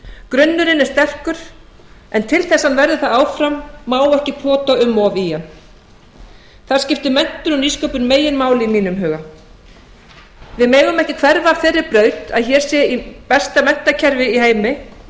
grunnurinn er sterkur en til þess að hann verði það áfram má ekki pota um í hann þar skiptir nýsköpun meginmáli í mínum huga við megum ekki hverfa af þeirri braut að hér sé besta menntakerfi í heimi í